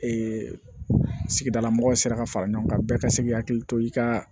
sigidala mɔgɔw sera ka fara ɲɔgɔn kan bɛɛ ka se k'i hakili to i ka